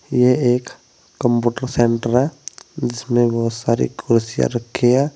ये एक computer centre है जिसमें बोहोत सारी कुर्सियां रखी हैं।